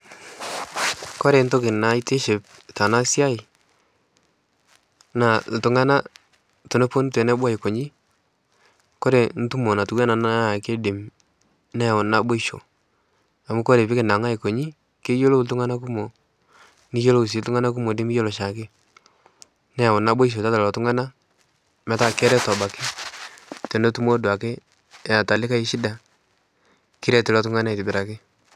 Kore ntoki naitiship tena siai naa iltungana teneponu tenebo aikonyi, kore ntumo natiunaa ana naa keidim neyauni naboisho amu kore piikinang'a aikonyi keyiolou iltungana kumok, niyiolou sii iltunagana kumok nimiyolo chaake. Neyau naboisho tiatua lelo tungana metaa kereto abaki tenetumo duake eata likae eshida kiret ilo tungani aitobiraki.